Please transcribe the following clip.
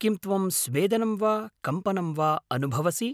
किं त्वं स्वेदनं वा कम्पनं वा अनुभवसि?